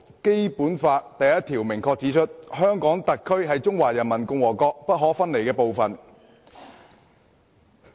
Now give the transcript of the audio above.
《基本法》第一條明確指出，"香港特別行政區是中華人民共和國不可分離的部分。